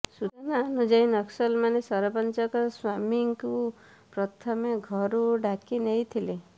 ସୂଚନା ଅନୁଯାୟୀ ନକ୍ସଲମାନେ ସରପଞ୍ଚଙ୍କ ସ୍ୱାମୀଙ୍କୁ ପ୍ରଥମେ ଘରୁ ଡାକିନେଇଥିଲେ